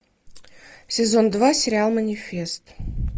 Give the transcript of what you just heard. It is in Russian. сезон два сериал манифест